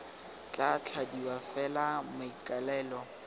tla thadiwa f fela maikaelelo